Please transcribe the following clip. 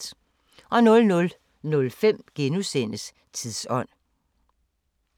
00:05: Tidsånd *